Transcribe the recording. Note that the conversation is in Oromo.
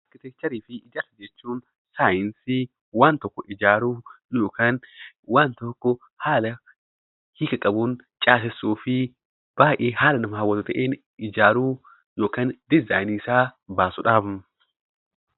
Arkiteekcharii fi ijaarsa jechuun saayinsii waan tokko ijaaruu yookiin waan tokko haala hiika qabuun caasessuu fi baay'ee haala nama hawwatu ta'een ijaaruu yookaan diizaayinii isaa baasuudha.